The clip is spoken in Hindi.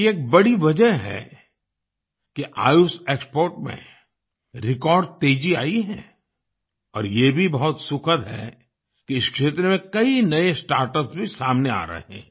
ये एक बड़ी वजह है कि आयुष एक्सपोर्ट्स में रेकॉर्ड तेजी आई है और ये भी बहुत सुखद है कि इस क्षेत्र में कई नए स्टार्टअप्स भी सामने आ रहे हैं